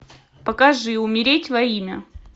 покажи умереть во имя